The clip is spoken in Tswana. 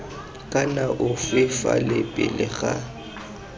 kana ofe fa pele ga